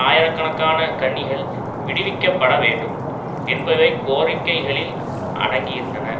ஆயிரக்கணக்கான கன்னிகள் விடுவிக்கப்பட வேண்டும் என்பவை கோரிக்கைகளில் அடங்கியிருந்தன